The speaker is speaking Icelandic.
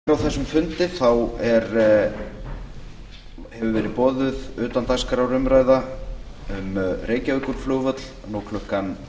eins og greint var frá fyrr á þessum fundi hefur verið boðuð utandagskrárumræða um reykjavíkurflugvöll nú klukkan